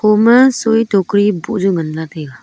poma soi toh koi boh youi ngan ley taiga.